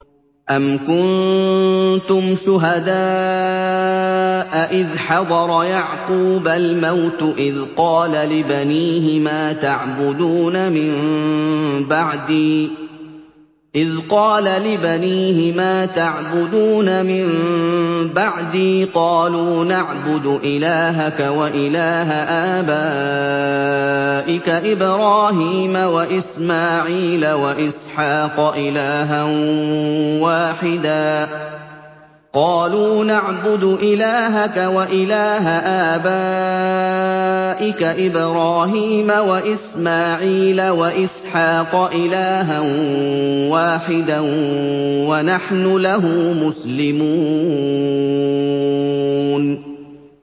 أَمْ كُنتُمْ شُهَدَاءَ إِذْ حَضَرَ يَعْقُوبَ الْمَوْتُ إِذْ قَالَ لِبَنِيهِ مَا تَعْبُدُونَ مِن بَعْدِي قَالُوا نَعْبُدُ إِلَٰهَكَ وَإِلَٰهَ آبَائِكَ إِبْرَاهِيمَ وَإِسْمَاعِيلَ وَإِسْحَاقَ إِلَٰهًا وَاحِدًا وَنَحْنُ لَهُ مُسْلِمُونَ